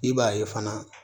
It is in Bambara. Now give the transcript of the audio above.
I b'a ye fana